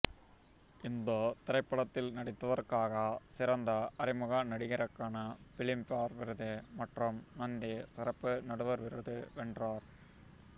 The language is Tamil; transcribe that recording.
இந்த திரைப்படத்தில் நடித்ததற்காக சிறந்த அறிமுக நடிகருக்கான பிலிம்பேர் விருது மற்றும் நந்தி சிறப்பு நடுவர் விருது வென்றார்